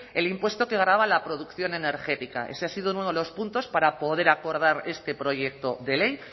el impuesto que grava la producción energética ese ha sido uno de los puntos para poder acordar este proyecto de ley